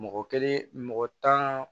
Mɔgɔ kelen mɔgɔ tan